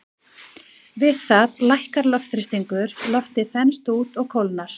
Við það lækkar loftþrýstingur, loftið þenst út og kólnar.